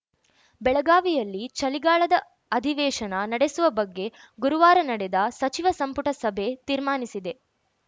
ಬೆಳಗಾವಿಯಲ್ಲಿ ಚಳಿಗಾಲದ ಅಧಿವೇಶನ ನಡೆಸುವ ಬಗ್ಗೆ ಗುರುವಾರ ನಡೆದ ಸಚಿವ ಸಂಪುಟ ಸಭೆ ತೀರ್ಮಾನಿಸಿದೆ